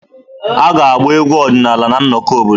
A ga-agba egwu ọdịnala na nnọkọ obodo.